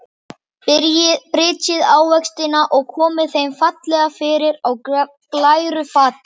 Brytjið ávextina og komið þeim fallega fyrir á glæru fati.